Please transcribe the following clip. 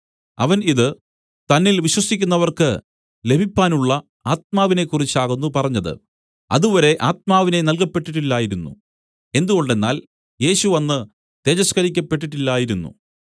അവൻ ഇതു തന്നിൽ വിശ്വസിക്കുന്നവർക്ക് ലഭിപ്പാനുള്ള ആത്മാവിനെക്കുറിച്ചാകുന്നു പറഞ്ഞത് അതുവരെ ആത്മാവിനെ നൽകപെട്ടിട്ടില്ലായിരുന്നു എന്തുകൊണ്ടെന്നാൽ യേശു അന്ന് തേജസ്കരിക്കപ്പെട്ടിട്ടില്ലായിരുന്നു